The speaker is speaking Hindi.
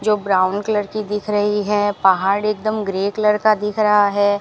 जो ब्राउन कलर की दिख रही है पहाड़ एकदम ग्रे कलर का दिख रहा है।